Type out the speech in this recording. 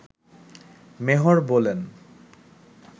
মেহর বলেন